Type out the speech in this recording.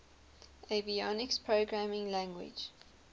avionics programming language